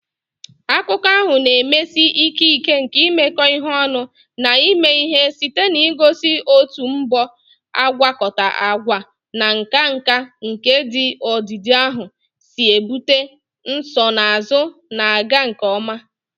Akụkọ ahụ na-emesi ike ike nke imekọ ihe ọnụ na ime ihe site n'igosi otu mbọ agwakọta agwa na nka nka nke ndị odide ahụ si ebute nsonaazụ na-aga nke ọma.